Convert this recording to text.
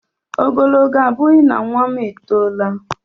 Ogologo abughi na nwa m e tola